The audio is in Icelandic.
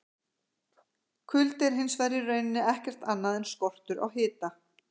Kuldi er hins vegar í rauninni ekkert annað en skortur á hita!